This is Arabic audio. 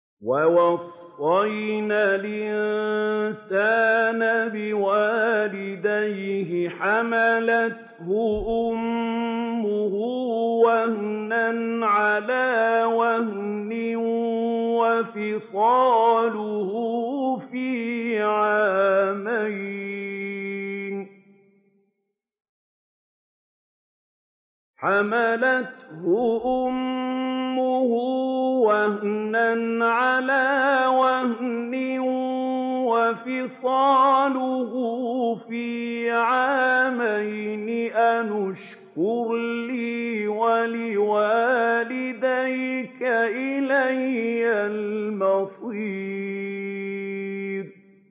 وَوَصَّيْنَا الْإِنسَانَ بِوَالِدَيْهِ حَمَلَتْهُ أُمُّهُ وَهْنًا عَلَىٰ وَهْنٍ وَفِصَالُهُ فِي عَامَيْنِ أَنِ اشْكُرْ لِي وَلِوَالِدَيْكَ إِلَيَّ الْمَصِيرُ